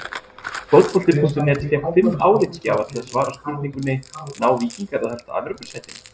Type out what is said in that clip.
Fótbolti.net fékk fimm álitsgjafa til að svara spurningunni: Ná Víkingar að halda Evrópusætinu?